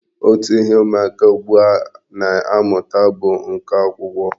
Otu ihe ụmụaka ugbua a na-amụta bụ nka akwụkwọ.